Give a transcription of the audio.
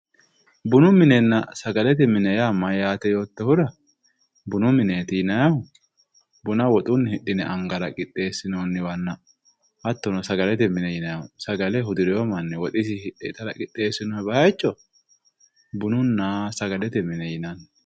bunu mininna sagalete mini mayyaate yoottohura bunu mineeti yinannihu buna woxunni hidhine angara qixxeessinoonniwanna hattono sagalete mine yinannihu sagale hudirino manni woxisinni hidhe itara qixxeessinoonni bayiicho bununna sagalete mine yinanni.